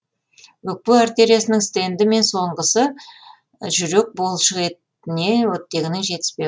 өкпе артериясының стенді және соңғысы жүрек бұлшықетіне оттегінің жетіспеуі